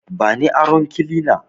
Bani aron kilina